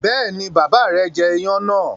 Bẹ́ẹ̀ni, bàbá rẹ̀ jẹ iyán náà.